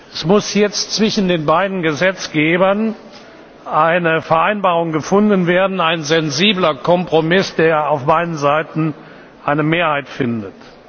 Es muss jetzt zwischen den beiden Gesetzgebern eine Vereinbarung gefunden werden, ein sensibler Kompromiss, der auf beiden Seiten eine Mehrheit findet.